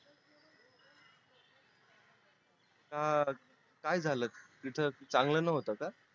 अं काय झाल तिथे चांगल नव्हत का